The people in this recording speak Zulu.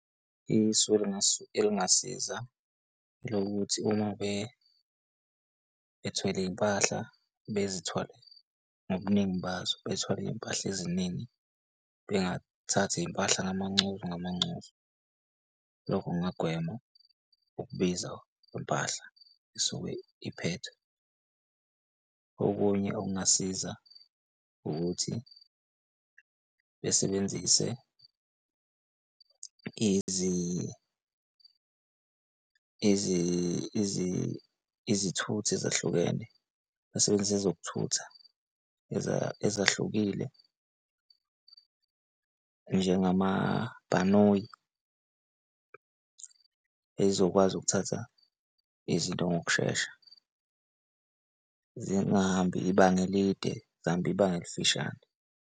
Isu elingasiza elokuthi uma bethwele iy'mpahla bezithole ngobuningi bazo bethole iy'mpahla eziningi bengathathi iy'mpahla ngamancozu ngamancozu, lokho kungagwema ukubiza kwempahla esuke iphethwe. Okunye okungasiza ukuthi besebenzise izithuthi ezahlukene basebenzise ezokuthutha ezahlukile njengama bhanoyi ey'zokwazi ukuthatha izinto ngokushesha zingahambi ibanga elide, zihambe ibanga elifishane.